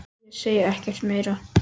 Ég segi ekkert meira.